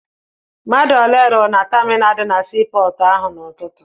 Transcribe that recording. Mmadụ ole rụrụ na taminalụ dị na sii pọọtụ ahụ n'ụtụtụ?